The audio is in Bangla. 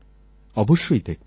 অবশ্যই দেখবেন